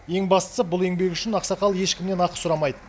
ең бастысы бұл еңбегі үшін ақсақал ешкімнен ақы сұрамайды